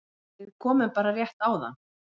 Við komum bara rétt áðan